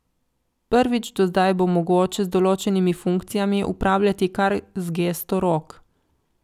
Prvič do zdaj bo mogoče z določenimi funkcijami upravljati kar z gesto rok.